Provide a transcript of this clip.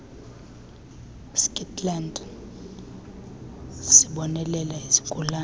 stikland sibonelela izigulane